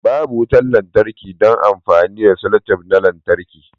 Babu wutar lantarki don amfani da selotape na lantarki